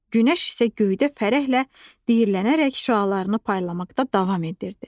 Günəş isə göydə fərəhlə diyirlənərək şüalarını paylamaqda davam edirdi.